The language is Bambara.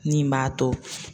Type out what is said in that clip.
Min b'a to